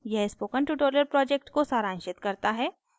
यह spoken tutorial project को सारांशित करता है